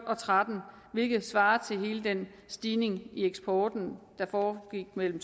og tretten hvilket svarer til hele den stigning i eksporten der foregik mellem